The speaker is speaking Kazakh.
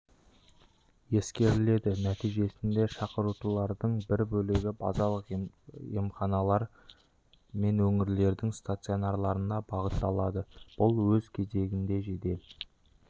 ескеріледі нәтижесінде шақыртулардың бір бөлігі базалық емханалар мен өңірлердің стационарларына бағытталады бұл өз кезегінде жедел